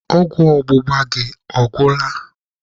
Ọgwụ ọgbụgba gị ọ gwụla?